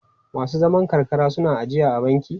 Masu zaman karkara suna ijiya a banki?